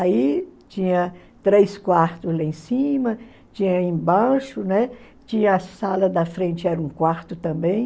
Aí tinha três quartos lá em cima, tinha embaixo, né, tinha a sala da frente, era um quarto também.